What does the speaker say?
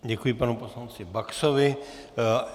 Děkuji, panu poslanci Baxovi.